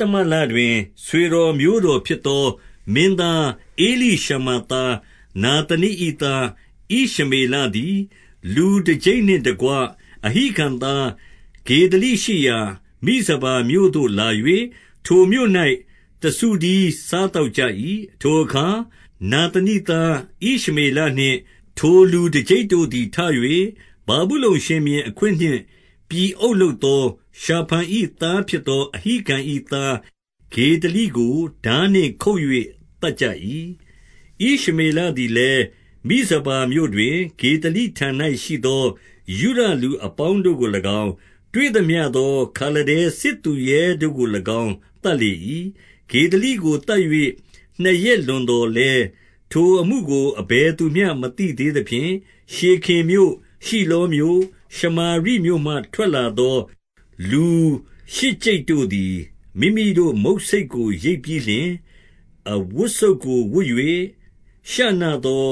တမလတွင် ဆွေတော်မျိုးတော်ဖြစ်သော မင်းသား ဧလိရှမာ သားနာသနိ၏သား ဣရှမေလသည်၊ လူတကျိပ်နှင့်တကွ၊ အဟိကံသား ဂေဒလိရှိရာ မိဇပါမြို့ သို့လာ၍၊ ထိုမြို့၌တစုတည်းစားသောက်ကြ၏။ ထိုအခါနာသနိသား ဣရှမေလနှင့် ထိုလူ တကျိပ်တို့သည် ထ၍၊ ဗာဗုလုန်ရှင်ဘုရင်အခွင့်နှင့် ပြည် အုပ်လုပ်သော ရှာဖန်၏သားဖြစ်သော အဟိကံ၏သား ဂေဒလိကိုထားနှင့်ခုတ်၍ သတ်ကြ၏။ ဣရှမေလသည်လည်း၊ မိဇပါမြို့တွင် ဂေဒလိ ထံ၌ရှိသော ယုဒလူအပေါင်းတို့ကို၎င်း၊ တွေ့သမျှသော ခါလဒဲ စစ်သူရဲတို့ကို၎င်း သတ်လေ၏။ ဂေဒလိကိုသတ်၍၊ နှစ်ရက်လွန်သော်လည်း၊ ထိုအမှုကို အဘယ်သူမျှ မသိသေးသဖြင့်၊ ရှေခင်မြို့၊ရှိလောမြို့၊ ရှမာရိမြို့မှထွက်လာသော လူရှစ်ကျိပ်တို့သည် မိမိတို့မုတ်ဆိတ်ကို ရိတ်ပြီးလျှင်၊ အဝတ်စုတ်ကိုဝတ်၍ ရှနသော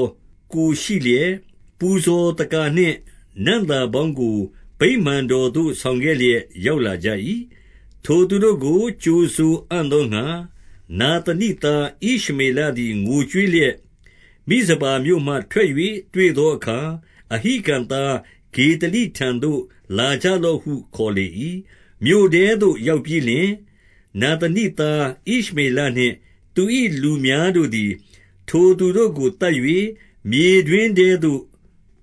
ကိုယ်ရှိလျက်၊ ပူဇော သက္ကာနှင့်နံ့သာပေါင်းကို ဗိမာန်တော်သို့ ဆောင်ခဲ့လျက် ရောက်လာကြ၏။ ထိုသူတို့ကို ကြိုဆိုအံ့သောငှါ၊ နာသနိသား ဣရှမေလသည် ငိုကြွေးလျက်၊ မိဇပါမြို့မှထွက်၍ တွေ့သောအခါ၊ အဟိကံသားဂေဒလိထံ သို့လာကြလော့ ဟု ခေါ်လေ၏။ မြို့ထဲသို့ရောက်ပြီးလျှင်၊ နာသနိသားဣရှမေလ နှင့် သူ၏လူများတို့သည် ထိုသူတို့ကိုသတ်၍၊ မြေတွင်း ထဲသို့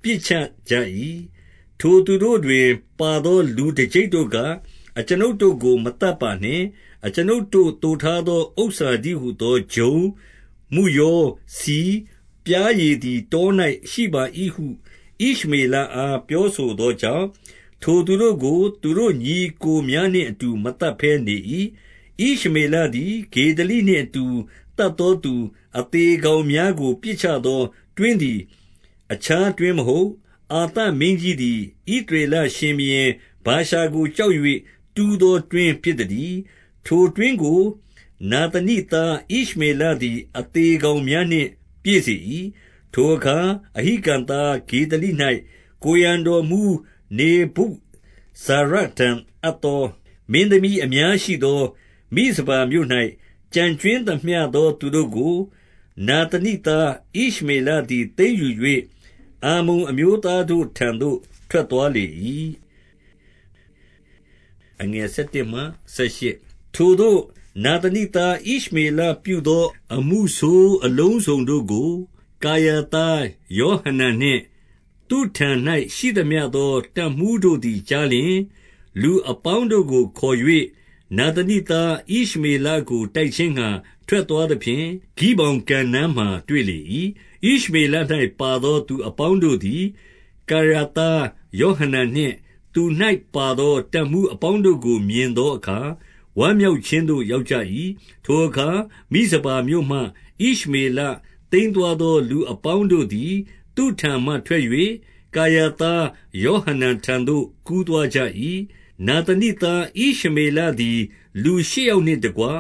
ပစ်ချကြ၏။ ထိုသူတို့တွင်ပါသော လူတကျိပ်တို့က၊ အကျွန်ုပ် တို့ကို မသတ်ပါနှင့်။ အကျွန်ုပ်တို့သိုထားသော ဥစ္စာတည်း ဟူသောဂျုံ၊ မုယော၊ ဆီ၊ ပျားရည်သည်တော၌ရှိပါ၏ဟု၊ ဣရှမေလအားပြောဆိုသောကြောင့်၊ ထိုသူတို့ကိုသူတို့ ညီအစ်ကိုများနှင့်အတူ မသတ်ဘဲနေ၏။ ဣရှမေလသည် ဂေဒလိနှင့်အတူ သတ်သောသူ အသေကောင်များကို ပစ်ချသော တွင်းသည်အခြားတွင်း မဟုတ်၊ အာသမင်းကြီးသည် ဣသရေလရှင်ဘုရင်ဗာရှာ ကို ကြောက်၍တူးသော တွင်းဖြစ်သတည်း။ ထိုတွင်းကို နာသနိသား ဣရှမေလသည် အသေကောင်များနှင့် ပြည့်စေ၏။ ထိုအခါအဟိကံသား ဂေဒလိ၌ ကိုယ်ရံတော်မှူး နေဗုဇာရဒန် အပ်သောမင်းသမီးများအစရှိသော၊ မိဇပါ မြို့၌ ကျန်ကြွင်းသမျှသော သူတို့ကို နာသနိသား ဣရှမေလသည် သိမ်းယူ၍၊ အမ္မုန်အမျိုးသားတို့ထံသို့ ထွက်သွားလေ၏။ ထိုသို့နာသနိသား ဣရှမေလပြုသော အမှုဆိုး အလုံစုံတို့ကို၊ ကာရသားယောဟနန်နှင့် သူ့ထံ၌ရှိသမျှ သော တပ်မှူးတို့သည်ကြားလျှင်၊ လူအပေါင်းတို့ကို ခေါ်၍၊ နာသနိသား ဣရှ မေလကိုတိုက်ခြင်းငှါ ထွက်သွားသဖြင့်၊ ဂိဗောင်ကန်နား မှာတွေ့လေ၏။ ဣရှမေလ၌ပါသောသူ အပေါင်းတို့သည် ကာရာသား ယောဟနန်နှင့်သူ၌ပါသော တပ်မှူး အပေါင်းတို့ကို မြင်သောအခါ၊ ဝမ်းမြောက်ခြင်းသို့ ရောက်ကြ၏။ ထိုအခါမိဇပါမြို့မှ ဣရှမေလသိမ်းသွားသော လူအပေါင်းတို့သည် သူ့ထံမှထွက်၍၊ ကာရာသား ယောဟနန်ထံသို့ ကူးသွားကြ၏။ နာသနိသား ဣရှမေလသည် လူရှစ်ယောက်နှင့် တကွ၊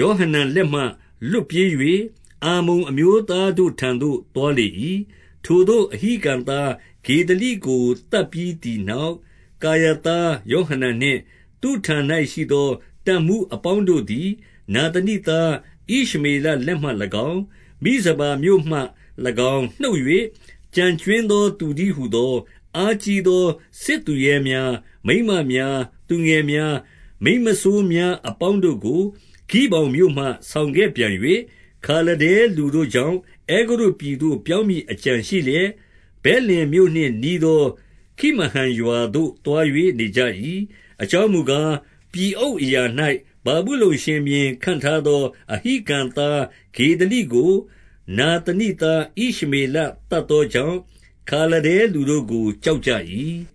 ယောဟနန်လက်မှ လွတ်ပြေး၍၊ အမ္မုန်အမျိုးသား တို့ထံသို့ သွားလေ၏။ ထိုသို့အဟိကံသား ဂေဒလိကို သတ်ပြီးသည် နောက်၊ ကာရာသားယောဟနန်နှင့် သူ့ထံ၌ရှိသော တပ်မှူးအပေါင်းတို့သည် နာသနိသား ဣရှမေလလက်မှ ၎င်း၊ မိဇပါမြို့မှ၎င်းနှုတ်၍ ကျန်ကြွင်းသော သူတည်း ဟူသော၊ အားကြီးသော စစ်သူရဲများ၊ မိန်းမများ၊ သူငယ် များ၊ မိန်းမစိုးများ အပေါင်းတို့ကို ဂိဗောင်မြို့မှ ဆောင်ခဲ့ ပြန်၍၊ ခါလဒဲလူတို့ကြောင့် အဲဂုတ္တုပြည်သို့ပြောင်းမည် အကြံရှိလျက်၊ ဗက်လင်မြို့နှင့်နီးသော ခိမဟံရွာသို့သွား၍ နေကြ၏။ အကြောင်းမူကား၊ ပြည်အုပ်အရာ၌ ဗာဗုလုန် ရှင်ဘုရင် ခန့်ထားသော အဟိကံသားဂေဒလိကို နာသနိ သား ဣရှမေလသတ်သောကြောင့်၊ ခါလဒဲလူတို့ကို ကြောက်ကြ၏။